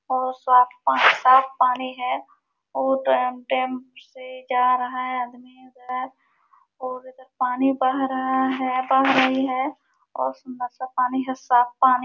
बहोत साफ़ पानी साफ़ पानी है| जा रहा है| आदमी पानी बह रहा है बह रही है --